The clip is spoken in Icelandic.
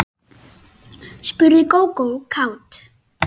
spurði Gógó kát.